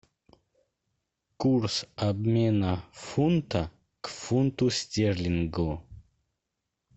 курс обмена фунта к фунту стерлингу